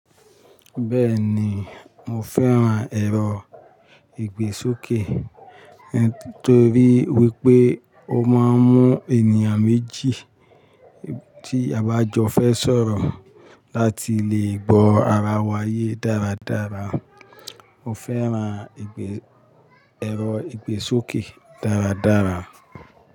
Bẹ́ẹ̀ni, mo fẹ́ran ẹ̀rọ ìgbésókè ẹn torí wípé ó máa ń mú ènìyàn méjì tí abajọ fẹ́ sọ̀rọ̀ láti lè gbọ́ ara wa ye dáradára. Mo fẹ́ran ẹ̀rọ ìgbésókè dáradára.